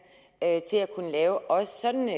til at kunne lave også sådanne